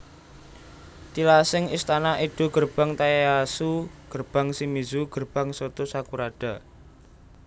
Tilasing Istana Edo Gerbang Tayasu Gerbang Shimizu Gerbang Soto sakurada